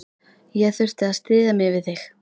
Ég þurfti að styðja mig við þig.